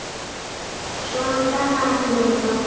Svona gat hann ekki lifað.